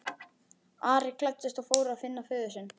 Ari klæddist og fór að finna föður sinn.